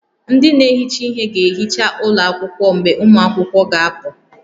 Ndị na-ehicha ihe ga-ehicha ụlọ akwụkwọ mgbe ụmụ akwụkwọ ga-apụ